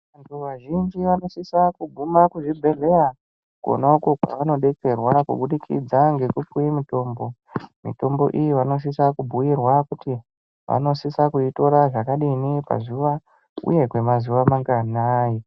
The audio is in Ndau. Vantu vazhinji vanosisa kuguma kuzvibhedhleya konako kwavanodetserwa kubudikidza ngekupuwe mutombo mitombo iyi vanosisa kubhuirwa kuti vanosisa kuitora zvakadii pazuwa uye kwemazuwa manganai.